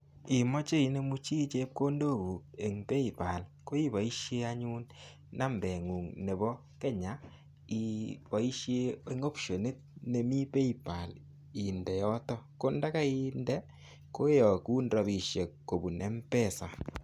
Imoche inemu chi chepkondokuk en pay pal koiboisien anyun nambengung' nebo Kenya ibosien optionit nemi pay pal inde yotok kondakai inde koyogun rabisiek kobun Mpesa.